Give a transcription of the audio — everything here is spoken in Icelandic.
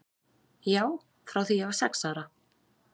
Já, frá því ég var sex ára.